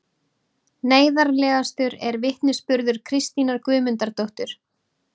Neyðarlegastur er vitnisburður Kristínar Guðmundardóttur